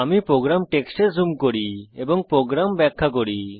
আমি প্রোগ্রাম টেক্সটে জুম করি এবং প্রোগ্রাম ব্যাখ্যা করি